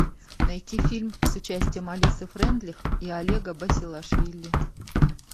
найти фильм с участием алисы фрейндлих и олега басилашвили